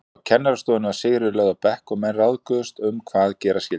Á kennarastofunni var Sigríður lögð á bekk og menn ráðguðust um hvað gera skyldi.